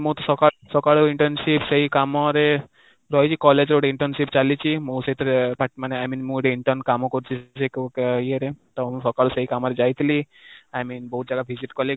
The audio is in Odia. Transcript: ମୁଁ ତ ସକାଳୁ internship ସେଇ କାମ ରେ ରହିକି college ରେ ଗୋଟେ internship ଚାଲିଛି, ମୁଁ ସେଥିରେ i mean ମୁଁ ଗୋଟେ intern କାମ କରୁଛି ସେ ଯୋଉ ଇଏରେ ତ ସକାଳୁ ସେଇ କାମରେ ଯାଇଥିଲି, I mean ବହୁତ ଜାଗା visit କଲି